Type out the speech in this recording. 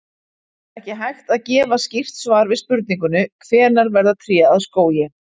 Það er ekki hægt að gefa skýrt svar við spurningunni hvenær verða tré að skógi.